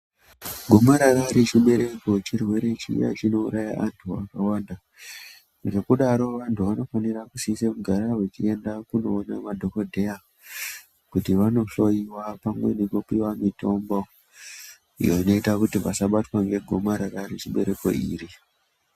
Gomarara rechibereko chirwere chiya chinouraya antu akawanda. Ngekudaro vanhu vanofanira kusise kugara vachinoona madhokodheya kuti vanohloyiwa pamwe nekupiwa mitombo iyo inoita kuti vasabatwa ngegomarara rechibereko iri.